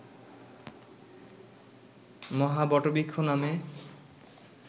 মহাবটবৃক্ষ নামে